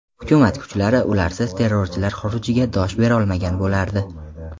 Hukumat kuchlari ularsiz terrorchilar xurujiga dosh berolmagan bo‘lardi.